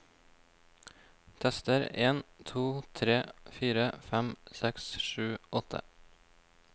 Tester en to tre fire fem seks sju åtte